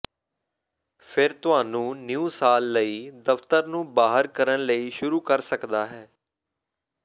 ਫਿਰ ਤੁਹਾਨੂੰ ਨਿਊ ਸਾਲ ਲਈ ਦਫ਼ਤਰ ਨੂੰ ਬਾਹਰ ਕਰਨ ਲਈ ਸ਼ੁਰੂ ਕਰ ਸਕਦਾ ਹੈ